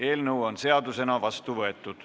Eelnõu on seadusena vastu võetud.